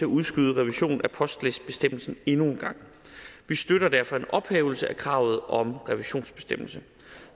udskyde revisionen af postlistebestemmelsen endnu en gang vi støtter derfor en ophævelse af kravet om revisionsbestemmelse